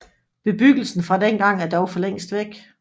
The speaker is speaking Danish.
Bebyggelsen fra dengang er dog for længst væk